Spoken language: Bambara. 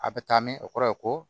A bɛ taa min o kɔrɔ ye ko